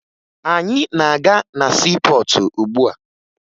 Anyị na-aga na siipọọtụ ugbua